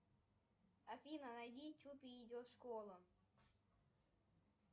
афина найди чупи идет в школу